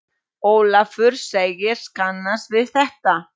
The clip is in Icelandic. Ólafur segist kannast við þetta.